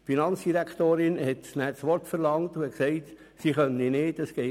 Die Finanzdirektorin verlangte daraufhin das Wort und sagte, für sie gehe es nicht.